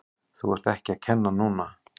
Þú ert ekki að kenna núna!